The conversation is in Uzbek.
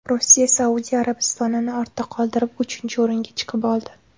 Rossiya Saudiya Arabistonini ortda qoldirib, uchinchi o‘ringa chiqib oldi.